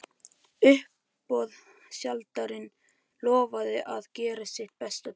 Uppboðshaldarinn lofaði að gera sitt besta til þess.